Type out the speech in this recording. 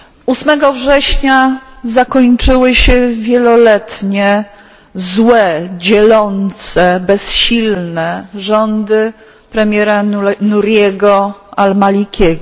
8 września zakończyły się wieloletnie, złe, dzielące, bezsilne rządy premiera Nuriego al Malikiego.